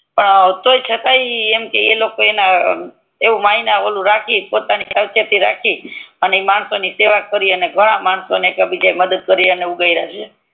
થસે તોય છતાંય એવું માન્ય એવું રાખી પોતાની સાવચેતી રાખી અને માણસો ની સેવ કરી અને ઘણા માણસો ની મદદ કરી ને ઉગાર્યા હે